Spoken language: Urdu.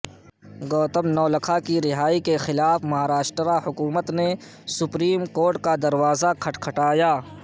گوتم نولکھا کی رہائی کے خلاف مہاراشٹر ا حکومت نے سپریم کورٹ کا دروازہ کھٹکھٹایا